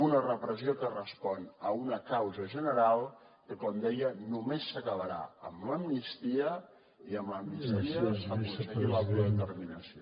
una repressió que respon a una causa general que com deia només s’acabarà amb l’amnistia i amb l’amnistia aconseguir l’autodeterminació